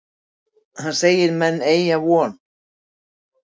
Hann segir menn eygja von.